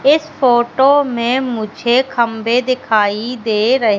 इस फोटो में मुझे खंबे दिखाई दे रहे--